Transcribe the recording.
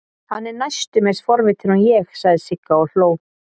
Hann er næstum eins forvitinn og ég, sagði Sigga og hló.